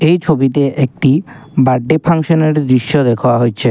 এই ছবিতে একটি বাড্ডে ফাংশনের ছবি দেখা হইছে।